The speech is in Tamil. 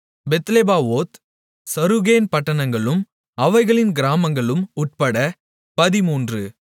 பெத்லெபாவோத் சருகேன் பட்டணங்களும் அவைகளின் கிராமங்களும் உட்பட பதிமூன்று